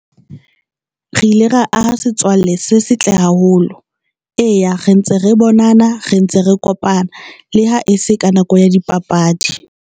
Re ile ra aha setswalle se setle haholo. Eya, re ntse re bonana re ntse re kopana le ha e se ka nako ya dipapadi.